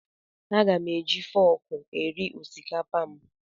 Aga m eji fọọkụ eri osikapa m.